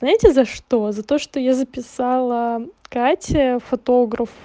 знаете за что за то что я записала катя фотограф